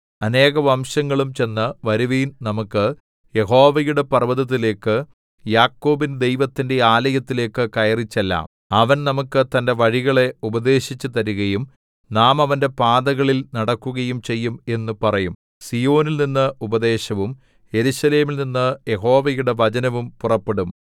അനേകവംശങ്ങളും ചെന്ന് വരുവിൻ നമുക്ക് യഹോവയുടെ പർവ്വതത്തിലേക്ക് യാക്കോബിൻ ദൈവത്തിന്റെ ആലയത്തിലേക്ക് കയറിച്ചെല്ലാം അവൻ നമുക്കു തന്റെ വഴികളെ ഉപദേശിച്ചുതരുകയും നാം അവന്റെ പാതകളിൽ നടക്കുകയും ചെയ്യും എന്നു പറയും സീയോനിൽനിന്ന് ഉപദേശവും യെരൂശലേമിൽ നിന്നു യഹോവയുടെ വചനവും പുറപ്പെടും